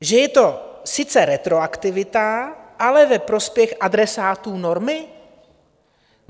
Že je to sice retroaktivita, ale ve prospěch adresátů normy?